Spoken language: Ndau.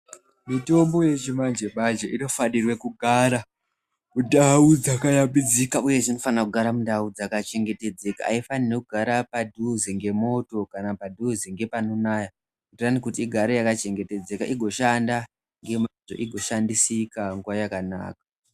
Mitombo yechi manje manje ino fanire kugara mu ndau dzaka yambidzika uye dzino fanira kugara mundau dzaka chengetedzeka ayi faniri kugara padhuze ne moto kana padhuze ngepano naya kuti igare yaka chengetedzeka igo shandisika nguva yakanaka.